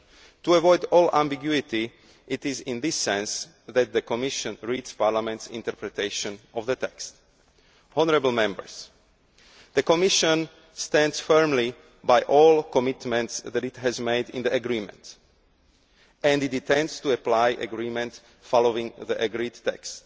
value. To avoid all ambiguity, it is in this sense that the Commission reads Parliament's interpretation of the text. The Commission stands firmly by all the commitments that it has made in the agreement, and it intends to apply the agreement following the